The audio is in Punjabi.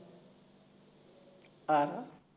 ਆਹੋ